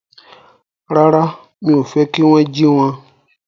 Rárá, mi ò fẹ́ kí wón jí wọn